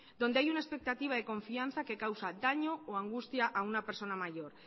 donde hay una expectativa de confianza que causa daño o angustia a una persona mayor